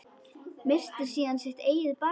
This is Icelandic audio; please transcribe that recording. Missti síðan sitt eigið barn.